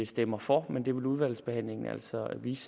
stemmer for men det vil udvalgsbehandlingen altså vise